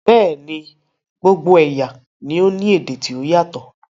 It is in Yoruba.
Bẹ́ẹ̀ni, gbogbo ẹ̀yà ni o ní èdè ti o yatọ